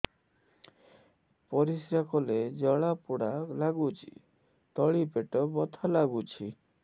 ପରିଶ୍ରା କଲେ ଜଳା ପୋଡା ଲାଗୁଚି ତଳି ପେଟ ବଥା ଲାଗୁଛି